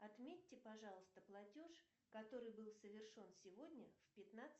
отметьте пожалуйста платеж который был совершен сегодня в пятнадцать